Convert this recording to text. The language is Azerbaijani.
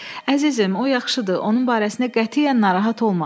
Əzizim, o yaxşıdır, onun barəsində qətiyyən narahat olma.